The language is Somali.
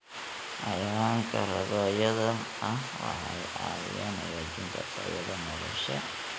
Xayawaanka rabaayada ah waxay caawiyaan hagaajinta tayada nolosha.